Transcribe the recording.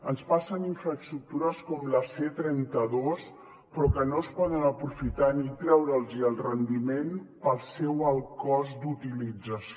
ens passen infraestructures com la c trenta dos però que no es poden aprofitar ni treure’ls el rendiment pel seu alt cost d’utilització